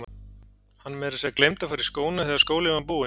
Hann meira að segja gleymdi að fara í skóna þegar skólinn var búinn.